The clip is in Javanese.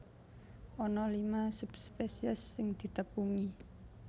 Ana lima subspesies sing ditepungi